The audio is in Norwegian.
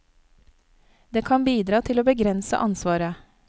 Det kan bidra til å begrense ansvaret.